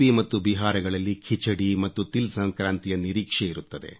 ಮತ್ತು ಬಿಹಾರಗಳಲ್ಲಿ ಖಿಚಡಿ ಮತ್ತು ತಿಲ್ಸಂಕ್ರಾಂತಿಯ ನಿರೀಕ್ಷೆ ಇರುತ್ತದೆ